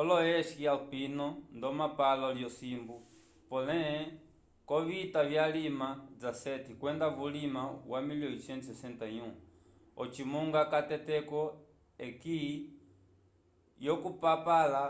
olo-eski alpino nd’omapalo lyosimbu polé k’ovita vyalima xvii, kwenda vulima wa 1861 ocimunga cateteco esqui yokupapala